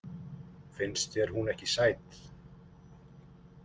Finnst þér hún ekki sæt?